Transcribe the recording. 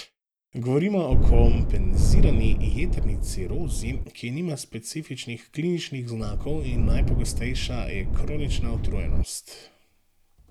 Govorimo o kompenzirani jetrni cirozi, ki nima specifičnih kliničnih znakov, najpogostejša je kronična utrujenost.